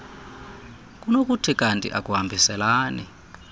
kunokuthi kanti akuhambiselani